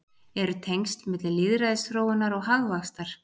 Eru tengsl milli lýðræðisþróunar og hagvaxtar?